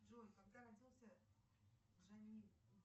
джой когда родился джанни